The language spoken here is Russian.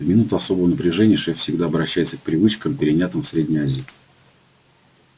в минуты особого напряжения шеф всегда обращается к привычкам перенятым в средней азии